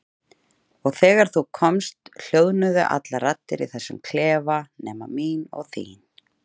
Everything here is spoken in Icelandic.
Og þegar þú komst hljóðnuðu allar raddir í þessum klefa nema mín og þín.